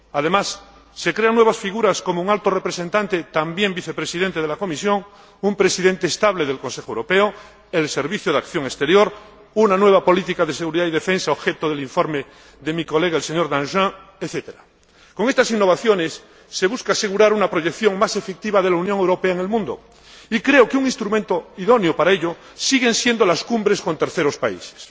Además, se crean nuevas figuras, con un Alto Representante, también Vicepresidente de la Comisión, un Presidente estable del Consejo Europeo, el Servicio Europeo de Acción Exterior, una nueva política de Seguridad y Defensa, objeto del informe de mi colega, el señor Danjean, etc. Con estas innovaciones se busca asegurar una proyección más efectiva de la Unión Europea en el mundo y creo que un instrumento idóneo para ello siguen siendo las cumbres con terceros países.